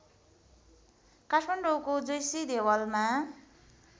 काठमाडौँको जैसीदेवलमा